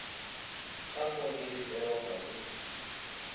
gakwa ke difero ga se